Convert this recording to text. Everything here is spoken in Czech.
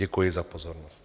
Děkuji za pozornost.